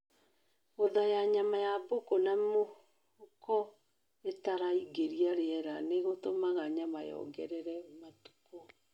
Gũthaya nyama ya mbũkũ na mĩhuko ĩtaraingĩria rĩera nĩ gũtũmaga nyama yongerere matukũ